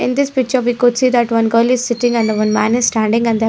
In this picture we could see that one girl is sitting and one man is standing and the --